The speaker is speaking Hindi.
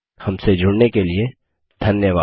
हमसे जुड़ने के लिए धन्यवाद